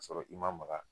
K'a sɔrɔ i ma maga